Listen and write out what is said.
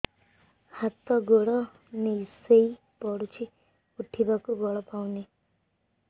ହାତ ଗୋଡ ନିସେଇ ପଡୁଛି ଉଠିବାକୁ ବଳ ପାଉନି